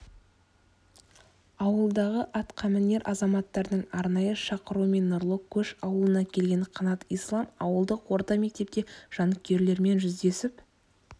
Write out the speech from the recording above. ауылдағы атқамінер азаматтардың арнайы шақыруымен нұрлы көш ауылына келген қанат ислам ауылдық орта мектепте жанкүйерлермен жүздесіп